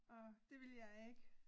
Og det ville jeg ikke